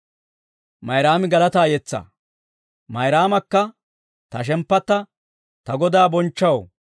Mayraamakka, «Ta shemppatta ta Godaa bonchchaw,